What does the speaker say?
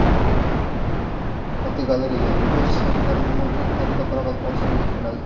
Fotogalereya: Dubay shayxlari nima uchun har yili Qoraqalpog‘istonga keladi?.